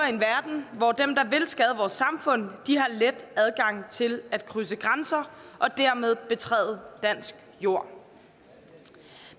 en verden hvor dem der vil skade vores samfund har let adgang til at krydse grænser og dermed betræde dansk jord